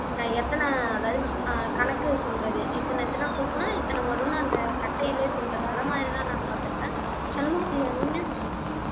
அஹ் எத்தன அதாவது அஹ் கணக்கு சொல்றது இத்தனை இத்தனை கூட்டுனா இத்தனை வரும்ன்னு அந்த கட்டையிலே சொல்றது அந்த மாதிரிதான் நான் பார்த்திருக்கேன் சண்முகப்பிரியா நீங்க